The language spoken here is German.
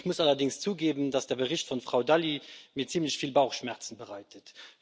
Ich muss allerdings zugeben, dass der Bericht von Frau Dalli mir ziemlich viel Bauchschmerzen bereitet.